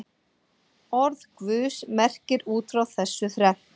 Orð Guðs merkir út frá þessu þrennt.